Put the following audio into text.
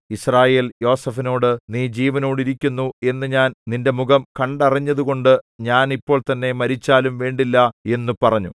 യിസ്രായേൽ യോസേഫിനോട് നീ ജീവനോടിരിക്കുന്നു എന്നു ഞാൻ നിന്റെ മുഖം കണ്ടറിഞ്ഞതുകൊണ്ട് ഞാൻ ഇപ്പോൾതന്നെ മരിച്ചാലും വേണ്ടില്ല എന്നു പറഞ്ഞു